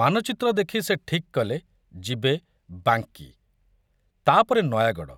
ମାନଚିତ୍ର ଦେଖୁ ସେ ଠିକ୍ କଲେ ଯିବେ ବାଙ୍କୀ, ତା ପରେ ନୟାଗଡ଼,